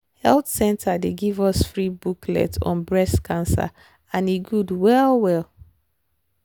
health center dey give free booklet on breast cancer and e good well well.